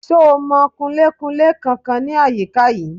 Ṣo mọ Kunlé-kunlé kankan ní àyíká yìí?